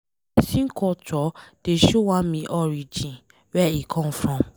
Pesin culture dey show am e origin, where e come from.